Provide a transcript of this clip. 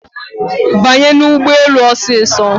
Banye n'ụgbọelu osiso